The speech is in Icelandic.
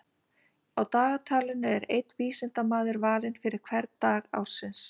Á dagatalinu er einn vísindamaður valinn fyrir hvern dag ársins.